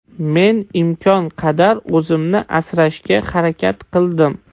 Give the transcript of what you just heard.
Men imkon qadar o‘zimni asrashga harakat qildim.